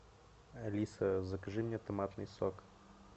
алиса закажи мне томатный сок